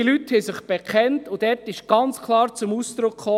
Die Leute bekannten sich, und dort kam ganz klar zum Ausdruck: